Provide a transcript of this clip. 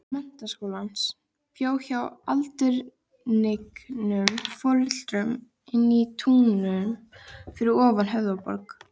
Menntaskólans, bjó hjá aldurhnignum foreldrum inní Túnum fyrir ofan Höfðaborg.